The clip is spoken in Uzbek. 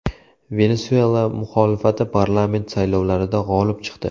Venesuela muxolifati parlament saylovlarida g‘olib chiqdi .